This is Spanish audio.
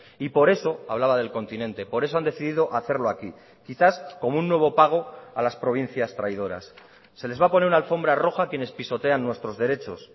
y por eso hablaba del continente por eso han decidido hacerlo aquí quizás como un nuevo pago a las provincias traidoras se les va a poner una alfombra roja a quienes pisotean nuestros derechos